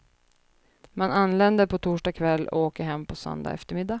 Man anländer på torsdag kväll och åker hem på söndag eftermiddag.